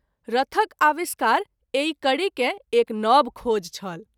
रथक आविष्कार एहि कड़ी के एक नव खोज छल।